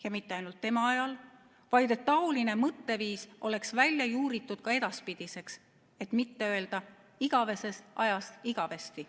Ja mitte ainult tema ajal, vaid et seesugune mõtteviis oleks välja juuritud ka edaspidiseks, et mitte öelda igavesest ajast igavesti.